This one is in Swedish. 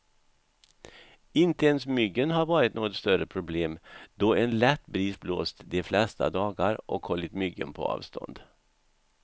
Inte ens myggen har varit något större problem, då en lätt bris blåst de flesta dagar och hållit myggen på avstånd.